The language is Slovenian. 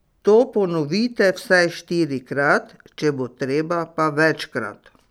To ponovite vsaj štirikrat, če bo treba, pa večkrat.